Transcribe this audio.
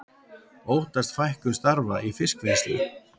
Óttast fækkun starfa í fiskvinnslu